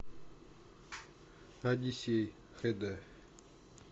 одиссей хд